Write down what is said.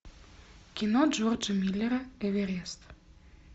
кино джорджа миллера эверест